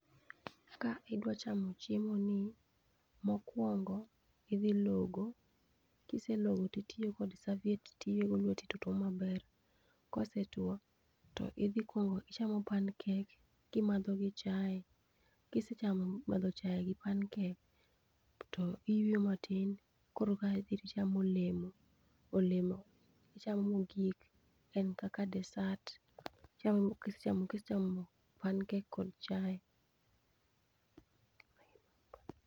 Ka idwa chamo chiemoni, mokuongo idhi logo, kiselogo totiyo kod serviette tiywego lweti to to tuo maber. Kaosetuo, to idhi kuongo ichamo pancake to imadho gi chae, kisechamo madho chae gi pancake to iyweyo matin koro ka ae dhi to ichmao olemo. Olemo ichamo mogik en kaka dessert ichamo kisechamo kisechamo pancake kod chae.